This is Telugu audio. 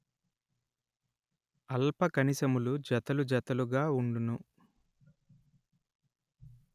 అల్ప కణిశములు జతలు జతలుగ ఉండును